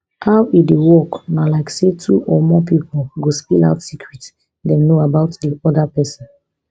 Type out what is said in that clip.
how e dey work na like say two or more pipo go spill out secret dem know about di oda pesin